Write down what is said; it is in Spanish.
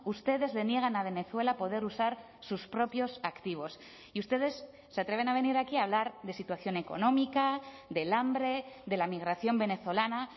ustedes le niegan a venezuela poder usar sus propios activos y ustedes se atreven a venir aquí a hablar de situación económica del hambre de la migración venezolana